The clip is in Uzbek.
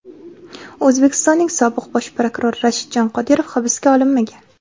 O‘zbekistonning sobiq Bosh prokurori Rashidjon Qodirov hibsga olinmagan.